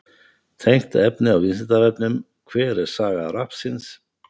Tengt efni á Vísindavefnum: Hver er saga rappsins?